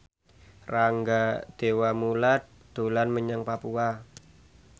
Rangga Dewamoela dolan menyang Papua